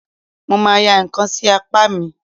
Mo ma ya ǹkan sí apá mi.